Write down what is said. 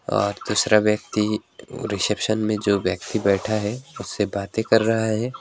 और दूसरा व्यक्ति वो अ रिसेप्शन में जो व्यक्ति बैठा है उससे बातें कर रहा है।